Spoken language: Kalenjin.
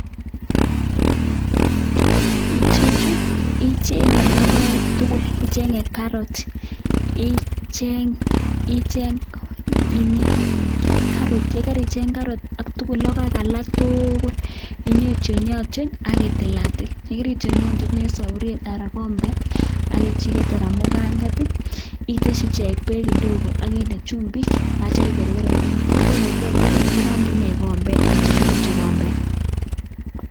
Ichechu ichenge logoek tugul ichenge carrots icheng logoek alak tugula kinyon ityonatyon akitilatil en saburiet anan kombet akechiket anan kombet iteshi ichek bek kidogo akinde chumbik akikorgoren tugul irangi ikombet akituch ngombet.